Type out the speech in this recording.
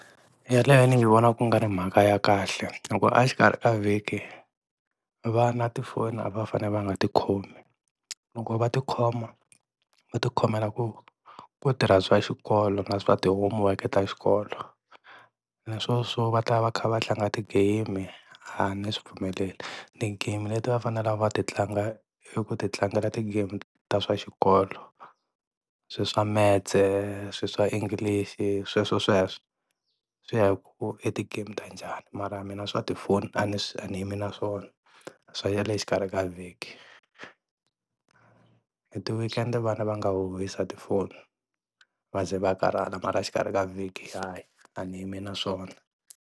Yeleyo ni nyi vona ku nga ri mhaka ya kahle hi ku a xikarhi ka vhiki vana tifoni a va fane va nga ti khomi loko va ti khoma va ti khomela ku ku tirha swa xikolo na swa ti-homework-e ta xikolo naswona swo va ta va kha va tlanga ti-game a ni swi pfumeleli. Ti-game leti va fanelaka va ti tlanga i ku ti tlangela ti-game ta swa xikolo, swilo swa metse silo swa English-i sweswosweswo, swi ya hi ku i ti-game ta njhani mara mina swa tifoni a ni swi a ni yimi na swona swa xikarhi ka vhiki. Hi ti-weekend-e vana va nga huhisa tifoni va ze va karhala mara exikarhi ka vhiki lhayi a ni yimi na swona.